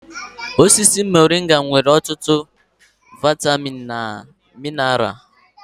Osisi moringa nwere ọtụtụ vaịtamịn na mineral.